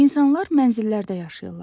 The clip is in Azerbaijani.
İnsanlar mənzillərdə yaşayırlar.